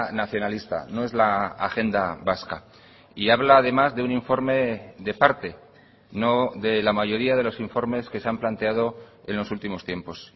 nacionalista no es la agenda vasca y habla además de un informe de parte no de la mayoría de los informes que se han planteado en los últimos tiempos